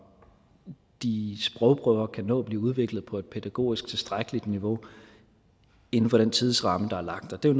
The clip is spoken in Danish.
de sprogprøver kan nå at blive udviklet på et pædagogisk tilstrækkeligt niveau inden for den tidsramme der er lagt og det er